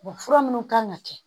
fura minnu kan ka kɛ